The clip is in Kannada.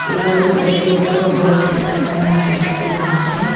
ಇವರು ಪ್ರತಿಯೊಬ್ಬರು ವೈಟ್ ಡ್ರಸ್ಸನ್ನ ಧರಿಸಿದ್ಧಾರೆ.